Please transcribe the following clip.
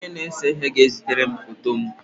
Onye na-ese ihe ga-ezitere m foto m.